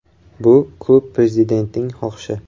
Bu klub prezidentining xohishi.